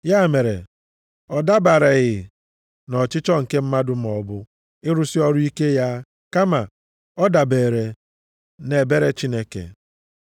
Ya mere, ọ dabereghị nʼọchịchọ nke mmadụ maọbụ ịrụsị ọrụ ike ya kama ọ dabere nʼebere Chineke.